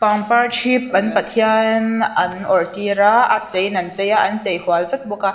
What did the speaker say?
an parthi an pathian an awrh tir a a chei in an chei a an chei hual vek bawk a.